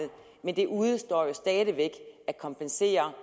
men det udestår stadig væk at kompensere